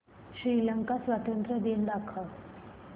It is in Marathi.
श्रीलंका स्वातंत्र्य दिन दाखव